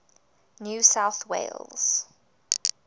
new south wales